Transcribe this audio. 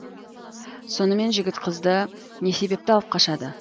сонымен жігіт қызды не себепті алып қашады